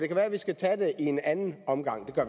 kan være vi skal tage det i en anden omgang det